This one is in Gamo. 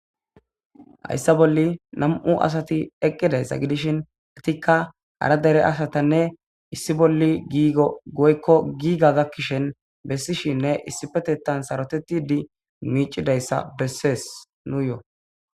Hayssa bolli nam'u asati eqqidayssa gidishin etikka hara dere ashatanne issi bolli giigo goykko giiga gakkishen bessishinne issipetettan sarotettidi miicidayssa bessees nuuyoo